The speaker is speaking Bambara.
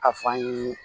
A fan ye